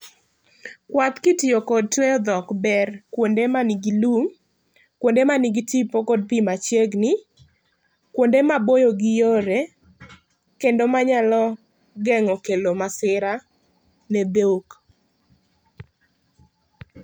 Kuath ki itiyo kod tweyo dhok ber kuonde ma ni gi lum, kuonde ma ni gi tipo kod pi machiegni, kuonde ma boyo gi yore kendo ma geng'o kelo masira ne dhok.